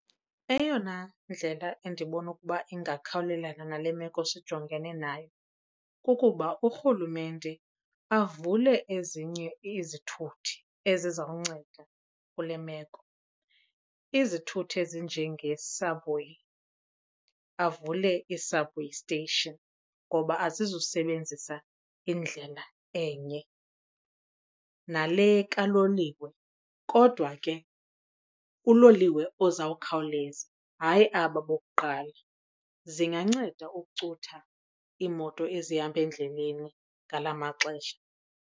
Eyona ndlela endibona ukuba ingakhawulelana nale meko sijongene nayo kukuba uRhulumente avule ezinye izithuthi ezizawunceda kule meko. Izithuthi ezinjenge-subway, avule ii-subway station ngoba azizusebenzisa indlela enye. Nale kaloliwe kodwa ke uloliwe ozawukhawuleza hayi aba bokuqala. Zinganceda ukucutha iimoto ezihamba endleleni ngala maxesha.